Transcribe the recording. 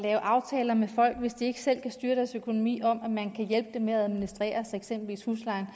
lave aftaler med folk hvis de ikke selv kan styre deres økonomi om at man kan hjælpe dem med at administrere at eksempelvis huslejen